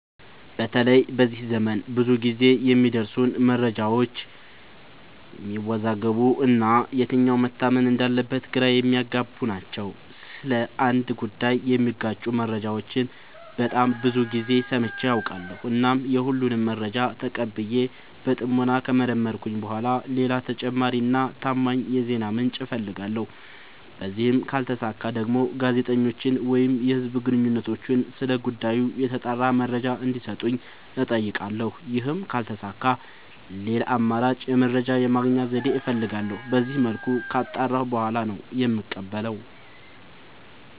በተለይ በዚህ ዘመን ብዙ ግዜ የሚደርሱን መረጃዎች የሚያዎዛግቡ እና የትኛው መታመን እንዳለበት ግራ የሚያገቡ ናቸው። ስለ አንድ ጉዳይ የሚጋጩ መረጃዎችን በጣም ብዙ ግዜ ሰምቼ አውቃለሁ። እናም የሁሉንም መረጃ ተቀብዬ በጥሞና ከመረመርኩኝ በኋላ ሌላ ተጨማሪ እና ታማኝ የዜና ምንጭ አፈልጋለሁ። በዚህም ካልተሳካ ደግሞ ጋዜጠኞችን ወይም የህዝብ ግንኙነቶችን ስለ ጉዳዩ የተጣራ መረጃ እንዲ ሰጡኝ አጠይቃለሁ። ይህም ካልተሳካ ሌላ አማራጭ የመረጃ የማግኛ ዘዴ እፈልጋለሁ። በዚመልኩ ካጣራሁ በኋላ ነው የምቀበለው።